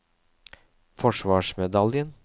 forsvarsmedaljen